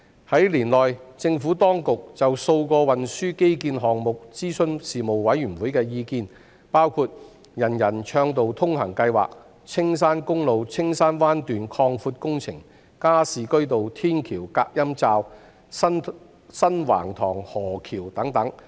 在年內，政府當局就數個運輸基建項目諮詢事務委員會的意見，包括"人人暢道通行"計劃、青山公路青山灣段擴闊工程、加士居道天橋隔音罩、新橫塘河橋等。